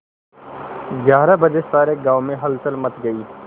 ग्यारह बजे सारे गाँव में हलचल मच गई